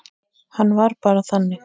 Hann var bara þannig.